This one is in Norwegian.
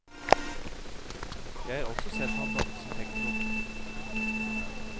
Jeg har også sett han danse tekno.